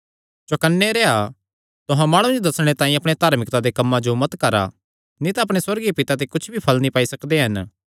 चौकन्ने रेह्आ तुहां माणुआं जो दस्सणे तांई अपणे धार्मिकता दे कम्मां जो मत करा नीं तां अपणे सुअर्गीय पिता ते कुच्छ भी फल़ नीं पाई सकदे हन